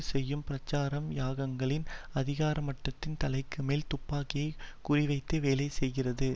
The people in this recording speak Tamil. செய்யும் பிரச்சாரம் யாங்கியாங்கின் அதிகார மட்டத்தின் தலைக்குமேல் துப்பாக்கியை குறிவைத்து வேலை செய்கிறது